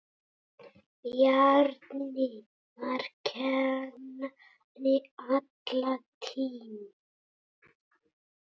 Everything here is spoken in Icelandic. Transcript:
Bjarni var kennari alla tíð.